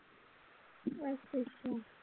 ਅੱਛਾ ਅੱਛਾ